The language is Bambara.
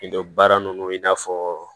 I dɔ baara ninnu i n'a fɔ